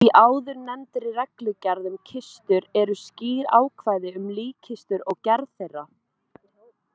Í áðurnefndri reglugerð um kistur eru skýr ákvæði um líkkistur og gerð þeirra.